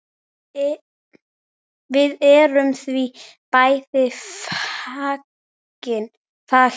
Við erum því bæði fegin.